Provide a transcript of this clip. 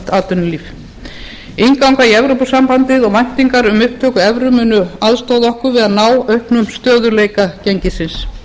atvinnulíf innganga í evrópusambandið og væntingar um upptöku evru munu aðstoða okkur við að ná auknum stöðugleika gengisins